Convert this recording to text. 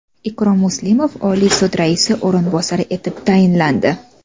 Ikrom Muslimov Oliy sud raisi o‘rinbosari etib tayinlandi.